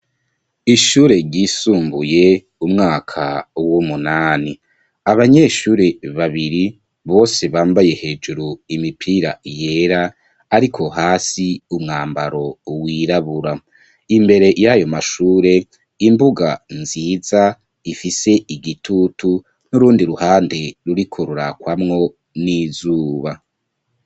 Ishure ryisumbuye, umwaka w'umunani; abanyeshure babiri, bose bambaye hejuru imipira yera, ariko hasi umwambaro wirabura; imbere y'ayo mashure, imbuga nziza, ifise igitutu, n'urundi ruhande ruriko rurakwamwo n'izuba.